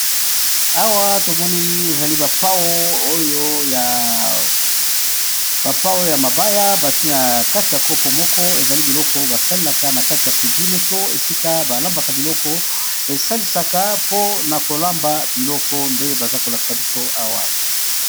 Toboni ba pau ya mabaya basalisaka na cuisine po na kolamba biloko.